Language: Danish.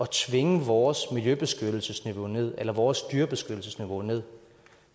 tvinge vores miljøbeskyttelsesniveau ned eller vores dyrebeskyttelsesniveau ned